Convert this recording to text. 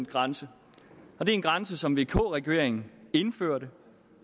grænse og det er en grænse som vk regeringen indførte